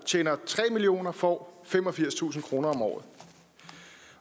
tjener tre million kr får femogfirstusind kroner om året